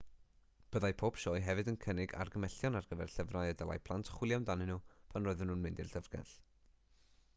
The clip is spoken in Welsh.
byddai pob sioe hefyd yn cynnig argymhellion ar gyfer llyfrau y dylai plant chwilio amdanyn nhw pan roedden nhw'n mynd i'w llyfrgell